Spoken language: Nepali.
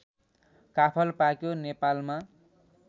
काफल पाक्यो नेपालमा